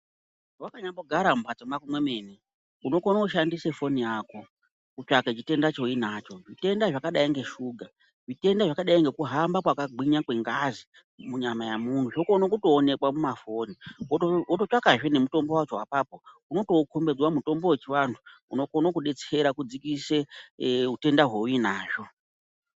Wakanyambogara mumhatso mako mwemene, unokone kushandise foni yako kutsvake chitenda chauinacho. Zvitenda zvakadai ngeshuga, zvitenda zvakadai ngekuhamba kwakagwinya kwengazi munyama yemunhu, zvokone kutoonekwa mumafoni, wototsvakazve nemutombo wacho apapo, unotoukombidzwa mutombo wechivantu unokone kudetsera kudzikisa utenda hwauinazvo.